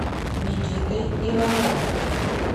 никитой ивановым